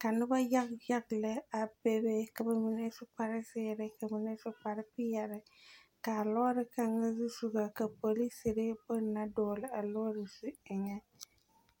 ka noba yage yage lԑ a bebe, ka ba mine su kpare zeere, ka ba mine su kpare peԑle. Kaa lͻͻre kaŋa zusogͻ, ka polisiri bone na dͻgele a lͻͻre zu eŋԑ.